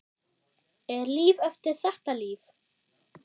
Er líf eftir þetta líf?